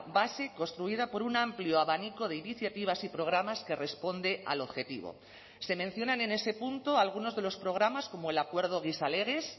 base construida por un amplio abanico de iniciativas y programas que responde al objetivo se mencionan en ese punto algunos de los programas como el acuerdo gizalegez